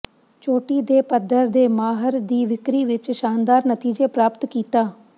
ਚੋਟੀ ਦੇ ਪੱਧਰ ਦੇ ਮਾਹਰ ਦੀ ਵਿਕਰੀ ਵਿਚ ਸ਼ਾਨਦਾਰ ਨਤੀਜੇ ਪ੍ਰਾਪਤ ਕੀਤਾ